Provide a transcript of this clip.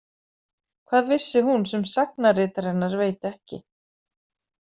Hvað vissi hún sem sagnaritari hennar veit ekki?